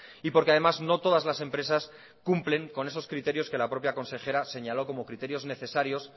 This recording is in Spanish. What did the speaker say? y porque además no todas las empresas cumplen con esos criterios que la propia consejera señaló como criterios necesarios